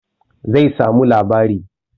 Zai samu labari